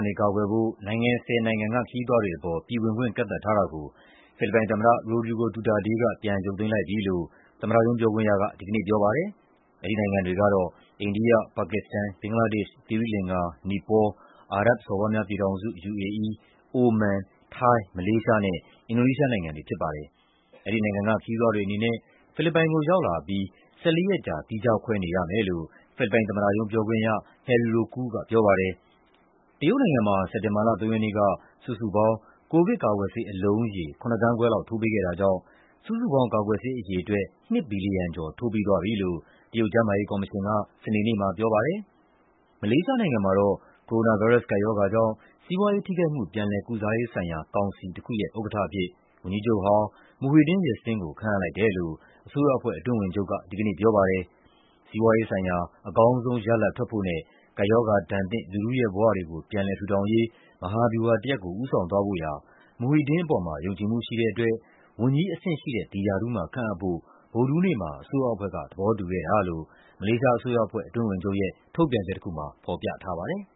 နေ ကာကွယ်ဖို့ နိုင်ငံ ၁၀ နိုင်ငံက ခရီးသွားတွေပေါ် ပြည်ဝင်ခွင့် ကန့်သတ်ထားတာကို ဖိလစ်ပိုင်သမ္မတ Rodrigo Duterte က ပြန်ရုပ်သိမ်းလိုက်ပြီလို့ သမ္မတရုံး ပြောခွင့်ရက ဒီကနေ့ပြောပါတယ်။ အဲဒီနိုင်ငံတွေကတော့ အိန္ဒိယ၊ ပါကစ္စတန်၊ ဘင်္ဂလားဒေ့ရှ်၊ သီရိလင်္ကာ၊ နီပေါလ်၊ အာရပ်ဘ်စော်ဘွားများပြည်ထောင်စု၊ အိုမန်၊ ထိုင်း၊ မလေးရှားနဲ့ အင်ဒိုနီးရှားနိုင်ငံတွေ ဖြစ်ပါတယ်။ အဲဒီနိုင်ငံက ခရီးသွားတွေအနေနဲ့ ဖိလစ်ပိုင်ကိုရောက်လာပြီး ၁၄ ရက်ကြာ သီးခြားခွဲနေရမယ်လို့ ဖိလစ်ပိုင်သမ္မတရုံး ပြောခွင့်ရ Harry Roque က ပြောပါတယ်။ တရုတ်နိုင်ငံမှာ စက်တင်ဘာလ ၃ ရက်နေ့က စုစုပေါင်း ကိုဗစ်ကာကွယ်ဆေး အလုံးရေ ၇ သန်းခွဲလောက် ထိုးပေးခဲ့တာကြောင့် စုစုပေါင်း ကာကွယ်ဆေးအရေအတွက် ၂ ဘီလီယံကျော် ထိုးပြီးသွားပြီလို့ တရုတ်ကျန်းမာရေးကော်မရှင်က စနေနေ့မှာ ပြောပါတယ်။ မလေးရှားနိုင်ငံမှာတော့ ကိုရိုနာဗိုင်းရပ်စ် ကပ်ရောဂါကြောင့် စီးပွားရေးထိခိုက်မှု ပြန်လည်ကုစားရေးဆိုင်ရာ ကောင်စီတခုရဲ့ ဥက္ကဋ္ဌအဖြစ် ဝန်ကြီးချုပ်ဟောင်း Muhyiddin Yassin ကို ခန့်အပ်လိုက်တယ်လို့ အစိုးရအဖွဲ့ အတွင်းဝန်ချုပ်က ဒီကနေ့ပြောပါတယ်။ "စီးပွားရေးဆိုင်ရာ အကောင်းဆုံးရလဒ်ထွက်ဖို့နဲ့ ကပ်ရောဂါဒဏ်သင့် လူထုရဲ့ဘဝတွေကို ပြန်လည်ထူထောင်ရေး" မဟာဗျူဟာတရပ်ကို ဦးဆောင်သွားဖို့ရာ Muhyiddin အပေါ်မှာ ယုံကြည်မှုရှိတဲ့အတွက် ဝန်ကြီးအဆင့် ဒီရာထူးမှာခန့်အပ်ဖို့ ဗုဒ္ဓဟူးနေ့မှာ အစိုးရအဖွဲ့က သဘောတူခဲ့တာလို့ မလေးရှားအစိုးရအဖွဲ့ အတွင်းဝန်ချုပ်ရဲ့ ထုတ်ပြန်ချက်တခုမှာ ဖော်ပြထားပါတယ်